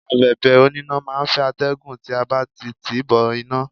Abẹ̀bẹ̀ oníná máà ń fẹ́ atẹ́gùn tí a bá ti tìí bọ iná.